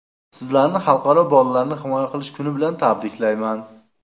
Sizlarni Xalqaro bolalarni himoya qilish kuni bilan tabriklayman!